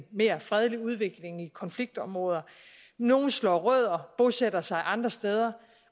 mere fredelig udvikling i konfliktområder nogle slår rødder bosætter sig andre steder